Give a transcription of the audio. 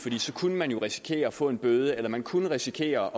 så kunne man jo risikere at få en bøde eller man kunne risikere